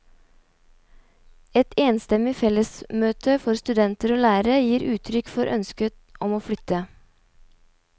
Et enstemmig fellesmøte for studenter og lærere gir uttrykk for ønsket om å flytte.